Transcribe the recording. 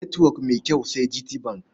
Netwok mai kyau sai GTBank.